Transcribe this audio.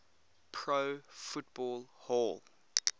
pro football hall